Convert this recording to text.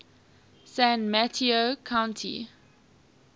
san mateo county